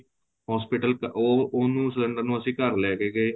hospital ਉਹ ਉਹਨੂੰ ਅਸੀਂ ਘਰ ਲੈਕੈ ਗਏ